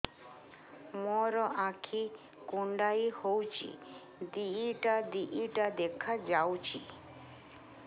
ମୋର ଆଖି କୁଣ୍ଡାଇ ହଉଛି ଦିଇଟା ଦିଇଟା ଦେଖା ଯାଉଛି